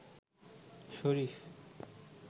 শরীফ